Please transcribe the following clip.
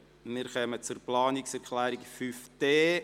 Wir kommen zur Planungserklärung 5.d.